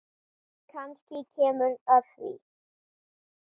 Kannski kemur að því.